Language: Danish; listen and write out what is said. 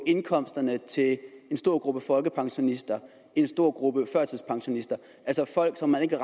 indkomsterne til en stor gruppe folkepensionister en stor gruppe førtidspensionister altså folk som man ikke